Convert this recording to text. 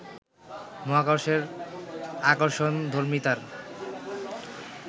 মহাকর্ষের আকর্ষণধর্মিতার